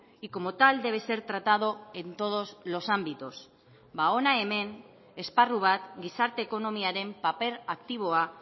y como tal debe ser tratado en todos los ámbitos ba hona hemen esparru bat gizarte ekonomiaren paper aktiboa